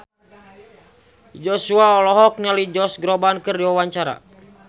Joshua olohok ningali Josh Groban keur diwawancara